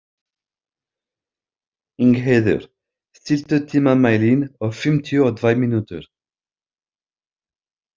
Ingheiður, stilltu tímamælinn á fimmtíu og tvær mínútur.